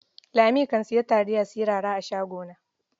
Lami kan sayi taliya sirara a shagona